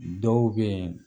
Dɔw bɛ yen